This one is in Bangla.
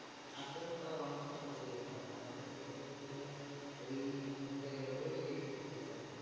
আসেন তো honours এর certificate টা আছে আমাদের তো হচ্ছে যে ওই ধরতে গেলে ওই ssc certificate.